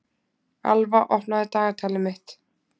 Alva, opnaðu dagatalið mitt.